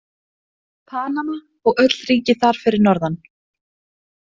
Panama og öll ríki þar fyrir norðan.